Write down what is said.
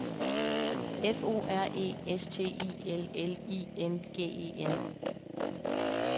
F O R E S T I L L I N G E N